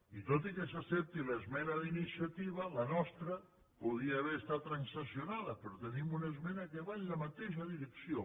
i tot i que s’accepti l’esmena d’iniciativa la nostra podria haver estat transaccionada però tenim una esmena que va en la mateixa direcció